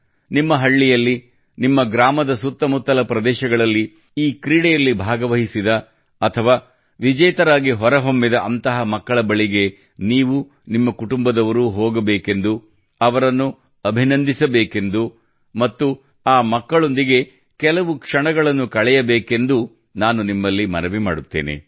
ನಿಮ್ಮ ಹಳ್ಳಿಯಲ್ಲಿ ನಿಮ್ಮ ಗ್ರಾಮದ ಸುತ್ತ ಮುತ್ತಲ ಪ್ರದೇಶಗಳಲ್ಲಿ ಈ ಕ್ರೀಡೆಯಲ್ಲಿ ಭಾಗವಹಿಸಿದ ಅಥವಾ ವಿಜೇತರಾಗಿ ಹೊರಹೊಮ್ಮಿದ ಅಂತಹ ಮಕ್ಕಳ ಬಳಿಗೆ ನೀವು ನಿಮ್ಮ ಕುಟುಂಬದವರು ಹೋಗಬೇಕೆಂದೂ ಅವರನ್ನು ಅಭಿನಂದಿಸಬೇಕೆಂದೂ ಮತ್ತು ಆ ಮಕ್ಕಳೊಂದಿಗೆ ಕೆಲವು ಕ್ಷಣಗಳನ್ನು ಕಳೆಯಬೇಕೆಂದೂ ನಾನು ನಿಮ್ಮಲ್ಲಿ ಮನವಿ ಮಾಡುತ್ತೇನೆ